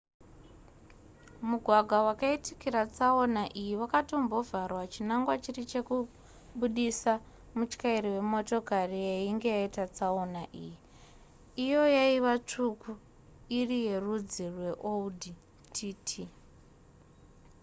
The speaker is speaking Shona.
mugwagwa wakaitikira tsaona iyi wakatombovharwa chinangwa chiri chekubudisa mutyairi mumotokari yainge yaita tsaona iyi iyo yaiva tsvuku iri yerudzi rweaudi tt